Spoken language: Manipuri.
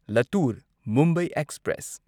ꯂꯇꯨꯔ ꯃꯨꯝꯕꯥꯏ ꯑꯦꯛꯁꯄ꯭ꯔꯦꯁ